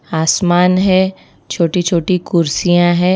आसमान है छोटी छोटी कुर्सियां है।